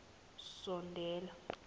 sondela